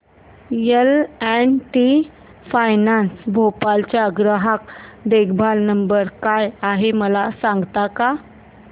L and T finance Bhopal चा ग्राहक देखभाल नंबर काय आहे मला सांगता का